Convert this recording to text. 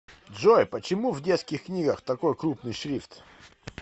джой почему в детских книгах такой крупный шрифт